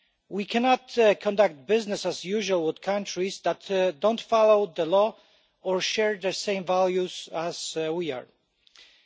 We cannot conduct business as usual with countries that do not follow the law or share the same values as we do.